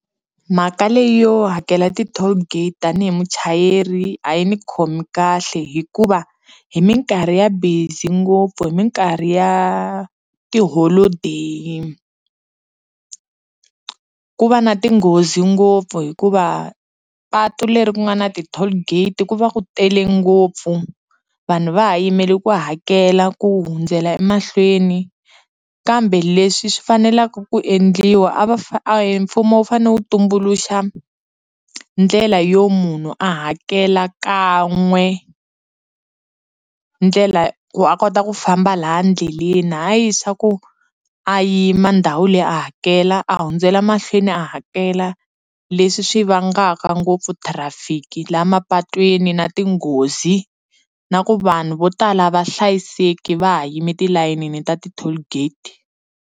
Mhaka leyi yo hakela ti-toll gate tanihi muchayeri a yi ni khomi kahle hikuva hi minkarhi ya busy ngopfu hi minkarhi ya tiholodeyi ku va na tinghozi ngopfu hikuva patu leri ku nga na ti-toll gate ku va ku tele ngopfu vanhu va ha yimele ku hakela ku hundzela emahlweni kambe leswi swi faneleke ku endliwa a va mfumo wu fane wu tumbuluxa ndlela yo munhu a hakela kan'we ndlela ku a kota ku famba laha ndleleni hayi swa ku a yima ndhawu leyi a hakela a hundzela mahlweni a hakela leswi swi vangaka ngopfu traffic laha mapatweni na tinghozi na ku vanhu vo tala a va hlayiseki va ha yime tilayini ta ti-toll gate.